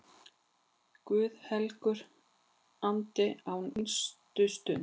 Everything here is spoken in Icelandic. Guð helgur andi, á hinstu stund